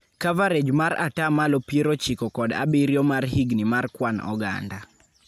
Coverage mar ataa malo piero ochiko kod abieio mar higni mar kwan oganda.